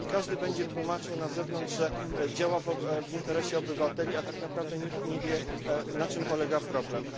Każdy będzie tłumaczył na zewnątrz, że działa w interesie obywateli, a tak naprawdę nikt nie wie, na czym polega problem.